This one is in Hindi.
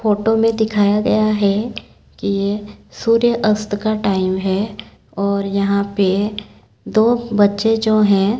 फोटो में दिखाया गया है कि ये सूर्य अस्त का टाइम है और यहां पे दो बच्चे जो हैं।